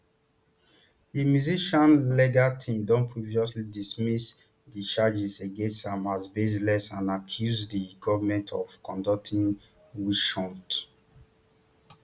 di musician legal team don previously dismiss di charges against am as baseless and accuse di goment of conducting witch hunt